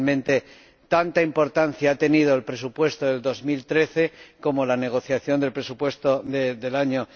Realmente tanta importancia ha tenido el presupuesto del año 2013 como la negociación del presupuesto del año